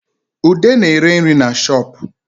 Ude na-ere nri na shoopu